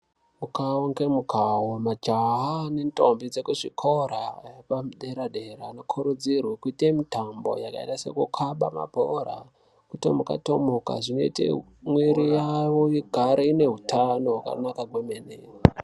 Mukawo ngemukawo majaha nendombi dzekuzvikora padera dera vanokurudzirwa kuite mutambo yakaita sekukaba mabhora kutomuka tomuka zvinoite mwiti yawo igare ine hutano hwakanaka kwemene.